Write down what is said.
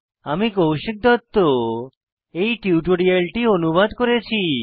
আমি কৌশিক দত্ত এই টিউটোরিয়ালটি অনুবাদ করেছি